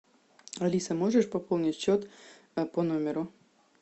алиса можешь пополнить счет по номеру